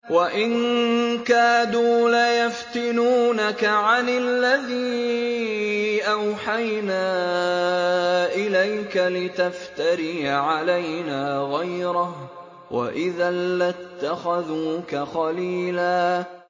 وَإِن كَادُوا لَيَفْتِنُونَكَ عَنِ الَّذِي أَوْحَيْنَا إِلَيْكَ لِتَفْتَرِيَ عَلَيْنَا غَيْرَهُ ۖ وَإِذًا لَّاتَّخَذُوكَ خَلِيلًا